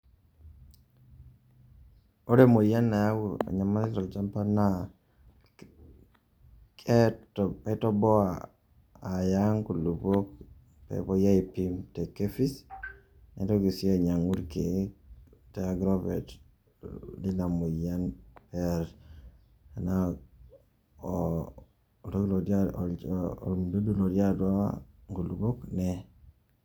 Ore emoyian nayau enyamali tolchamba naa kaitoboa aya nkulukon pee epuoi aipim te KEPHIS, naitoki sii ainyang'u irkeek te agrovet lina moyian ee enaa oo oltoki totii atua ormududu lotii atua nkulukok nee.